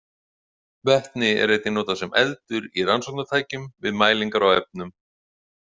Vetni er einnig notað sem eldur í rannsóknartækjum við mælingar á efnum.